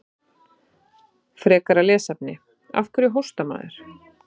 Frekara lesefni: Af hverju hóstar maður?